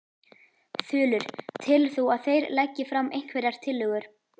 Þulur: Telur þú að þeir leggi fram einhverjar tillögur?